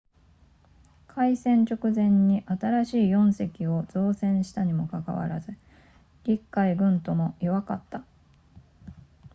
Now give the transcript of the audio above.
開戦直前に新しい4隻を造船したにもかかわらず陸海軍とも弱かった